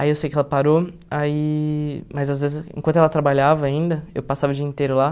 Aí eu sei que ela parou aí, mas às vezes enquanto ela trabalhava ainda, eu passava o dia inteiro lá.